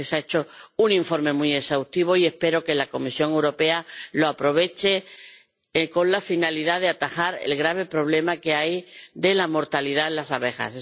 Creo que se ha hecho un informe muy exhaustivo, y espero que la Comisión Europea lo aproveche con la finalidad de atajar el grave problema que hay de la mortalidad en las abejas.